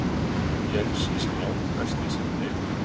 Jens er sá langbesti sem við eigum.